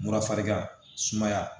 Mura farigan sumaya